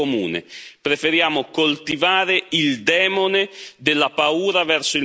Preferiamo coltivare il demone della paura verso il migrante.